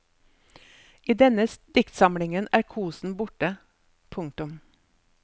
I denne diktsamlingen er kosen borte. punktum